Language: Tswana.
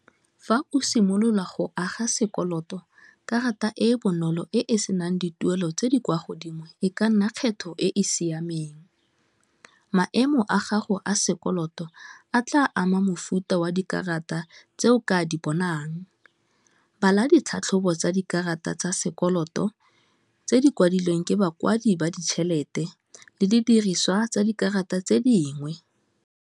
Fa o simolola go aga sekoloto, karata e e bonolo e e senang dituelo tse di kwa godimo e ka nna kgetho e e. Siameng maemo a gago a sekoloto a tla ama futa wa dikarata tse o ka di bonang, bala ditlhatlhobo tsa dikarata tsa sekoloto tse di kwadilweng ke bakwadi ba ditšhelete, le didiriswa tsa dikarata tse dingwe.